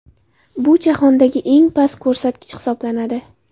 Bu jahondagi eng past ko‘rsatkich hisoblanadi.